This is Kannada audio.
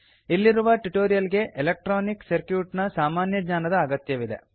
ಇಲ್ಲಿರುವ ಟ್ಯುಟೋರಿಯಲ್ ಗೆ ಎಲೆಕ್ಟ್ರೋನಿಕ್ ಸರ್ಕ್ಯೂಟ್ ನ ಸಾಮಾನ್ಯ ಜ್ಞಾನದ ಅತ್ಯಗತ್ಯವಿದೆ